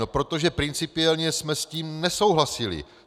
No protože principiálně jsme s tím nesouhlasili.